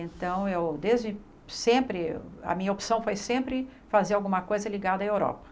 Então eu desde sempre, a minha opção foi sempre fazer alguma coisa ligada à Europa.